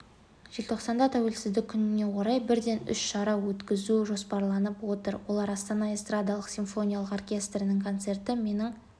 желтоқсанда тәуелсіздік күніне орай бірден үш шара өткізу жоспарланып отыр олар астана эстрадалық-симфониялық оркестрінің концерті менің